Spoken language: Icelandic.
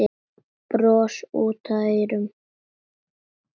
Bros út að eyrum.